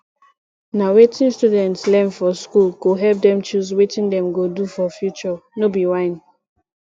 na wetin students learn for school go help dem choose wetin dem go do for future no be whine